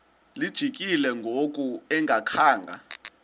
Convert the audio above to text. lijikile ngoku engakhanga